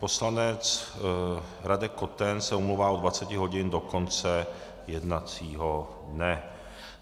Poslanec Radek Koten se omlouvá od 20 hodin do konce jednacího dne.